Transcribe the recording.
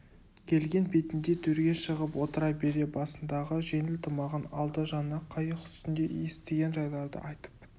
келген бетінде төрге шығып отыра бере басындағы жеңіл тымағын алды жаңа қайық үстінде естіген жайларды айтып